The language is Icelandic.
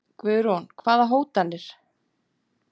Guðrún: Hvaða hótanir?